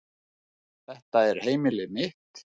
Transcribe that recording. Þetta er heimilið mitt.